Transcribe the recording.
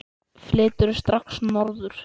Flyturðu strax norður?